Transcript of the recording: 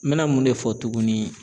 N mɛna mun de fɔ tugunni